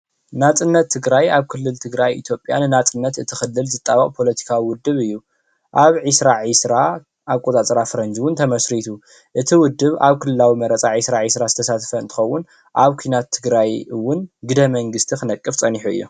ናፅነት ትግራይ ኣብ ክልል ትግራይ ኢትዮጲያ ንናፅነት እቲ ክልል ዝጣበቅ ፖለቲካዊ ዉድብ እዩ። ኣብ 2020 ኣቆፃፅራ ፈረንጂ እዉን ተመስሪቱ። እቲ ውድብ ኣብ ክልላዊ መረፃ 2020 ዝተሳተፈ እንትከዉን ኣብ ኪናት ትግራይ እውን ግደ መንግስቲ ክነቅፍ ፀኒሑ እዩ።